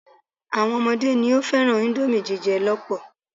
Àwọn ọmọdé ni ó fẹ́ràn íńdómì jíjẹ lọ́pọ̀.